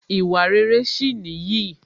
Ìwà rere sì nìyí